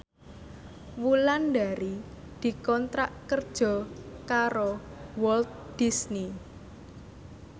Wulandari dikontrak kerja karo Walt Disney